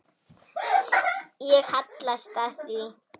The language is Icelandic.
Ég hallast að því.